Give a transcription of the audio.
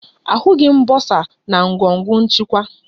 Ahụghị m bọsa na ngọngọ nchịkwa